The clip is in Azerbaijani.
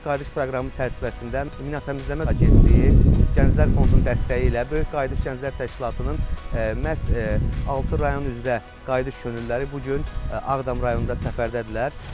Böyük Qayıdış proqramı çərçivəsində Mina Təmizləmə Agentliyi, Gənclər Fondunun dəstəyi ilə Böyük Qayıdış Gənclər Təşkilatının məhz altı rayon üzrə Qayıdış könüllüləri bu gün Ağdam rayonunda səfərdədirlər.